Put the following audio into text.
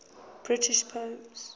british poems